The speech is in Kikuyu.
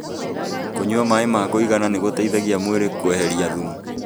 Kũnyua maĩ ma kũigana nĩgũteithagia mwĩrĩ kweheria thumu